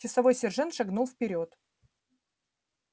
часовой сержант шагнул вперёд